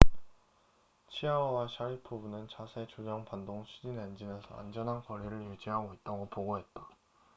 치아오와 샤리포브는 자세 조정 반동 추진 엔진에서 안전한 거리를 유지하고 있다고 보고했다